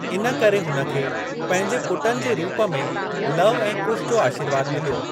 इन करे हुन खे पंहिंजे पुटनि जे रूप में लव ऐं कुश जो आशीर्वादु मिलियो।